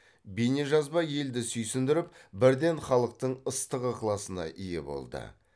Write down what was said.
бейнежазба елді сүйсіндіріп бірден халықтың ыстық ықыласына ие болды